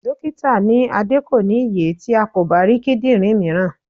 Dókítà ní Adé kò ní ye tí a kò bá rí kíndìnrín mìíràn.